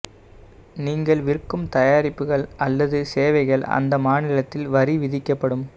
நீங்கள் விற்கும் தயாரிப்புகள் அல்லது சேவைகள் அந்த மாநிலத்தில் வரி விதிக்கப்படும்